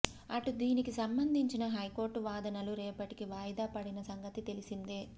అటు దీనికి సంబంధించిన హైకోర్టు వాదనలు రేపటికి వాయిదాపడిన సంగతి తెలిసిందే